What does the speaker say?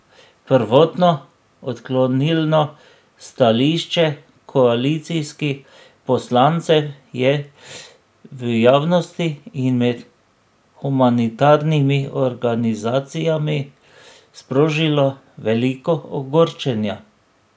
Prvotno odklonilno stališče koalicijskih poslancev je v javnosti in med humanitarnimi organizacijami sprožilo veliko ogorčenja.